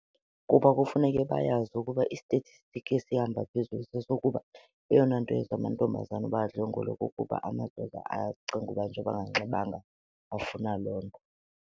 Kuba kufuneke bayazi ukuba i-statistic esihamba phezulu sesokuba eyona nto eyenza amantombazana uba adlengulwe kukuba amadoda aye acinga uba njengoba enganxibanga afuna loo nto.